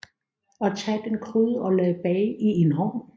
Og tag den gryde og lad bage i en ovn